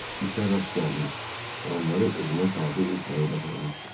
İtə rast gəlmiş və onları özünə tabe etməyi bacarmışdı.